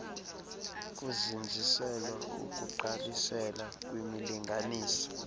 kuzinziselwa ukugqalisela kwimilinganiselo